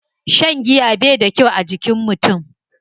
Shan giya bai da kyau a jikin mutum.